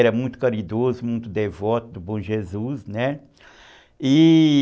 Era muito caridoso, muito devoto do bom Jesus, né?